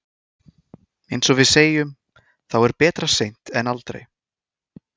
Eins og við segjum, þá er betra seint en aldrei.